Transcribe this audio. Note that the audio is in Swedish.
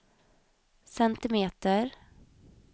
centimeter